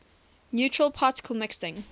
neutral particle mixing